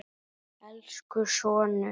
Elsku sonur.